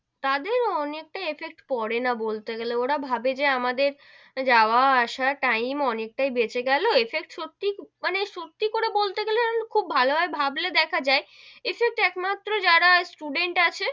তাদের অনেকটাই effect পড়ে না বলতে গেলে ওরা ভাবে যে আমাদের যাওয়া আসা time অনেকটাই বেড়ে গেলো, effect সত্যি, মানে সত্যি করে বলতে গেলে খুব ভালো ভাবে ভাবলে দেখা যাই effect একমাত্র যারা student আছে,